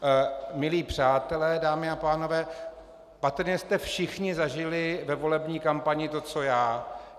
Milí přátelé, dámy a pánové, patrně jste všichni zažili ve volební kampani to co já.